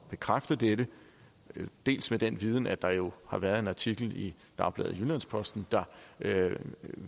bekræfte dette dels med den viden at der jo har været en artikel i dagbladet jyllands posten der